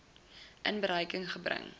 in berekening gebring